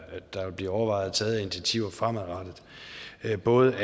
der overvejes taget af initiativer fremadrettet af både